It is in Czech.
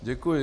Děkuji.